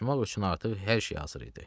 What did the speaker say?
Qaçmaq üçün artıq hər şey hazır idi.